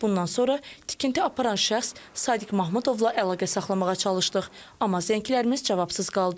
Bundan sonra tikinti aparan şəxs Sadiq Mahmudovla əlaqə saxlamağa çalışdıq, amma zənglərimiz cavabsız qaldı.